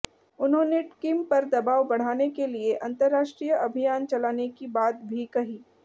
उन्होंने किम पर दबाव बढ़ाने के लिए अंतरराष्ट्रीय अभियान चलाने की बात भी कही